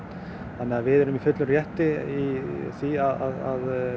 þannig að við erum í fullum rétti í því að